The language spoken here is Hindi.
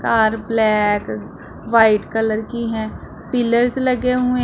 कार ब्लैक व्हाइट कलर की हैं पिलर्स लगे हुए--